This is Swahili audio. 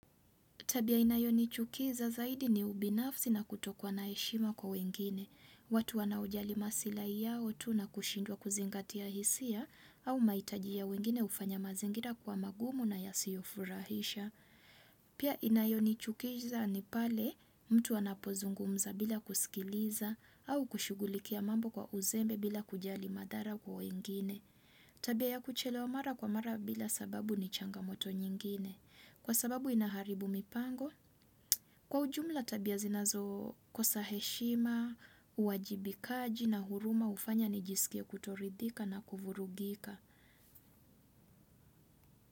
Tabia inayo nichukiza zaidi ni ubinafsi na kutokuwa na heshima kwa wengine. Watu wanaojali masilahi yao tu na kushindwa kuzingatia hisia au maitaji ya wengine ufanya mazingira kwa magumu na yasio furahisha. Pia inayo ni chukiza ni pale mtu anapozungumza bila kusikiliza au kushugulikia mambo kwa uzembe bila kujali madhara kwa wengine. Tabia ya kuchelewa mara kwa mara bila sababu ni changamoto nyingine. Kwa sababu inaharibu mipango, kwa ujumla tabia zinazo kosa heshima, uwajibikaji na huruma ufanya ni jisikie kutoridhika na kuvurugika.